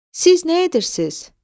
Siz nə edirsiz?